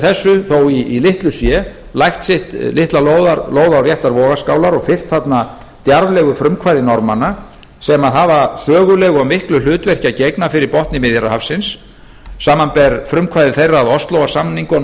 þessu þó í litlu sé lagt sitt litla lóð á réttar vogarskálar og fylgt þarna djarflegu frumkvæði norðmanna sem hafa sögulegu og miklu hlutverki að gegna fyrir botni miðjarðarhafsins samanber frumkvæði þeirra að óslóarsamningunum á sínum tíma